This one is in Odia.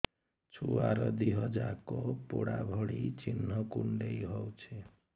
ଛୁଆର ଦିହ ଯାକ ପୋଡା ଭଳି ଚି଼ହ୍ନ କୁଣ୍ଡେଇ ହଉଛି